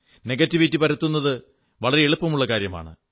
negativity പരത്തുന്നത് വളരെ എളുപ്പമുള്ള കാര്യമാണ്